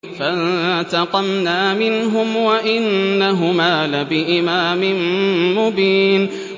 فَانتَقَمْنَا مِنْهُمْ وَإِنَّهُمَا لَبِإِمَامٍ مُّبِينٍ